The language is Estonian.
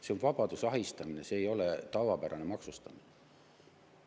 See on vabaduse ahistamine, see ei ole tavapärane maksustamine.